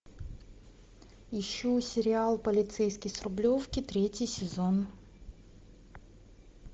ищу сериал полицейский с рублевки третий сезон